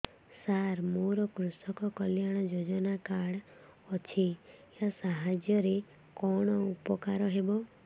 ସାର ମୋର କୃଷକ କଲ୍ୟାଣ ଯୋଜନା କାର୍ଡ ଅଛି ୟା ସାହାଯ୍ୟ ରେ କଣ ଉପକାର ହେବ